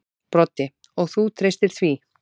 Broddi: Og þú treystir því?